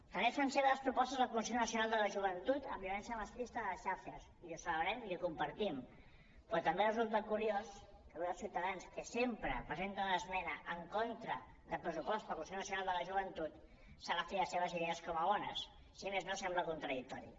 també fan seves propostes del consell nacional de la joventut en violència masclista a les xarxes i ho celebrem i ho compartim però també resulta curiós que avui els ciutadans que sempre presenten l’esmena en contra del pressupost per al consell nacional de la joventut s’agafi les seves idees com a bones si més no sembla contradictori